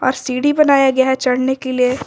सीढ़ी बनाया गया है चढ़ने के लिए।